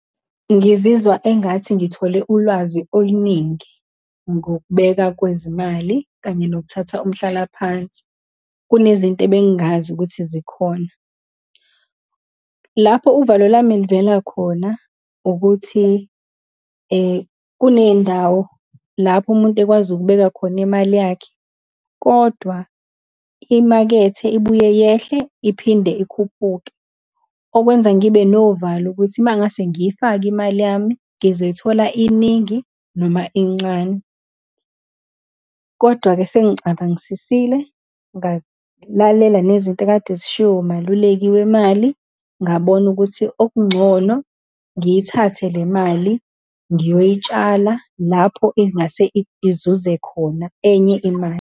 Ngizizwa engathi ngithole ulwazi oluningi, ngokubeka kwezimali, kanye nokuthatha umhlalaphansi. Kunezinto ebengazi ukuthi zikhona. Lapho uvalo lami livela khona, ukuthi kuney'ndawo lapho umuntu ekwazi ukubeka khona imali yakhe, kodwa imakethe ibuye yehle iphinde ikhuphuke. Okwenza ngibe novalo, ukuthi uma ngase ngiyifake imali yami, ngizoyithola iningi, noma incane. Kodwa-ke sengicabangisisile, ngalalela nezinto ekade zishiwo umaluleki wemali, ngabona ukuthi okungcono ngiyithathe le mali, ngiyoyitshala lapho ingase izuze khona enye imali.